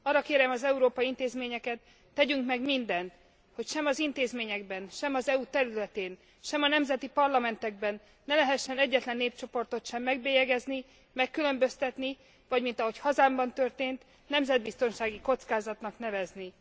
Arra kérem az európai intézményeket, tegyünk meg mindent, hogy sem az intézményekben, sem az EU területén, sem a nemzeti parlamentekben ne lehessen egyetlen népcsoportot sem megbélyegezni, megkülönböztetni, vagy mint ahogy hazámban történt nemzetbiztonsági kockázatnak nevezni.